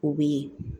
O bɛ yen